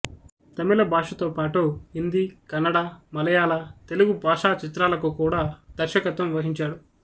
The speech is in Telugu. తమిళ భాషతో పాటు హిందీ కన్నడ మలయాళ తెలుగు భాషాచిత్రాలకు కూడా దర్శకత్వం వహించాడు